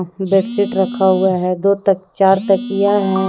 Bedsheet रखा हुआ है दो तक चार तकिया है।